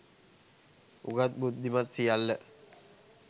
උගත් බුද්ධිමත් සියල්ල